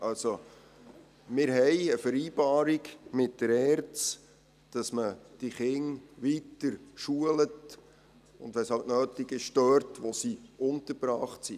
Also: Wir haben eine Vereinbarung mit der ERZ, wonach man diese Kinder weiter schult und, wenn es halt nötig ist, zwar dort, wo sie untergebracht sind.